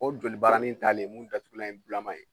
O joli barani in talen, mun datugulan ye bulama ye